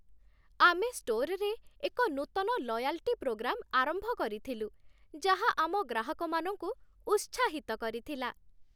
ଆମେ ଷ୍ଟୋରରେ ଏକ ନୂତନ ଲୟାଲ୍ଟି ପ୍ରୋଗ୍ରାମ୍ ଆରମ୍ଭ କରିଥିଲୁ, ଯାହା ଆମ ଗ୍ରାହକମାନଙ୍କୁ ଉତ୍ସାହିତ କରିଥିଲା।